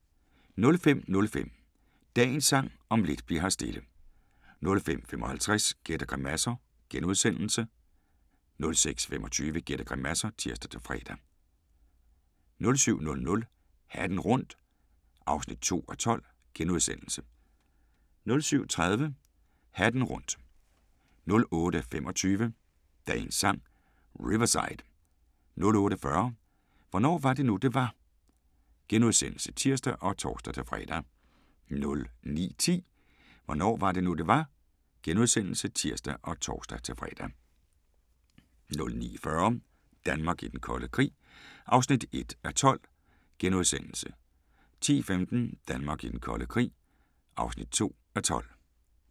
05:05: Dagens Sang: Om lidt bli'r her stille * 05:55: Gæt og grimasser * 06:25: Gæt og grimasser (tir-fre) 07:00: Hatten rundt (2:12)* 07:30: Hatten rundt 08:25: Dagens Sang: Riverside 08:40: Hvornår var det nu, det var? *(tir og tor-fre) 09:10: Hvornår var det nu, det var? *(tir og tor-fre) 09:40: Danmark i den kolde krig (1:12)* 10:15: Danmark i den kolde krig (2:12)